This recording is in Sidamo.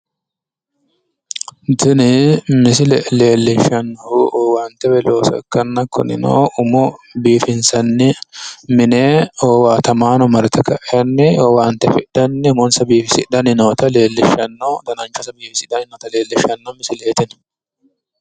tini misile leellishshannohu owaante woyi looso ikkanna kunino umo biifinsanni mine owaatamaano marte ka'e owaante afidhanni umonsa biifisidhanni noota leellishshanno dananchose biifisidhanni noota leellishshanno misileeti tini